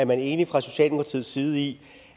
man er enig fra socialdemokratiets side i